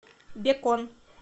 бекон